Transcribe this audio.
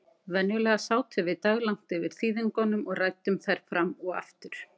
Venjulega sátum við daglangt yfir þýðingunum og ræddum þær fram og aftur.